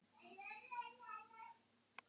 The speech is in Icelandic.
Sé mjaðmir hennar lyftast í hverju spori.